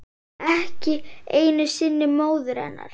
Ekki einu sinni móður hennar.